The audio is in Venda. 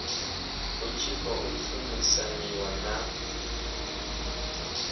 hu tshi khou shumisaniwa na